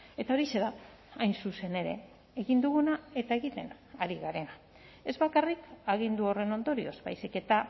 eta horixe da hain zuzen ere egin duguna eta egiten ari garena ez bakarrik agindu horren ondorioz baizik eta